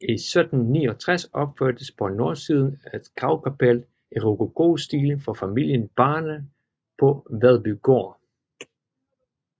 I 1769 opførtes på nordsiden et gravkapel i rokokostil for familien Barner på Vedbygaard